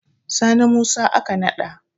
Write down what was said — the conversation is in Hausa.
Sani Musa aka nada.